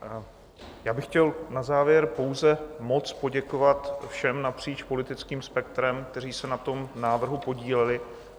Já bych chtěl na závěr pouze moc poděkovat všem napříč politickým spektrem, kteří se na tom návrhu podíleli.